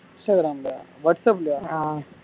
instagram லயா whatsapp லயா